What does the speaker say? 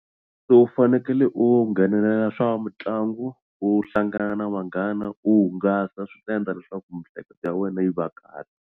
So u fanekele u nghenelela swa mitlangu u hlangana na vanghana u hungasa swi ta endla leswaku miehleketo ya wena yi va kahle.